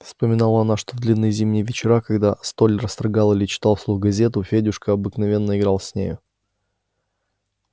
вспомнила она что в длинные зимние вечера когда столяр строгал или читал вслух газету федюшка обыкновенно играл с нею